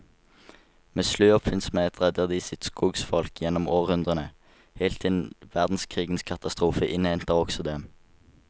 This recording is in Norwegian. Med slu oppfinnsomhet redder de sitt skogsfolk gjennom århundrene, helt til verdenskrigens katastrofe innhenter også dem.